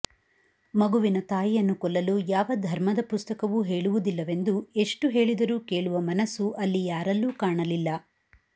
ಮಗುವಿನ ತಾಯಿಯನ್ನು ಕೊಲ್ಲಲು ಯಾವ ಧರ್ಮದ ಪುಸ್ತಕವೂ ಹೇಳುವುದಿಲ್ಲವೆಂದು ಎಷ್ಟು ಹೇಳಿದರೂ ಕೇಳುವ ಮನಸ್ಸು ಅಲ್ಲಿ ಯಾರಲ್ಲೂ ಕಾಣಲಿಲ್ಲ